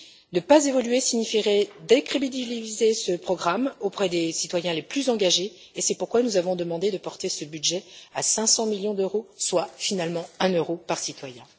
Ne pas évoluer signifierait décrédibiliser ce programme auprès des citoyens les plus engagés, et c'est pourquoi nous avons demandé de porter ce budget à 500 millions d'euros, soit finalement un euro par citoyen.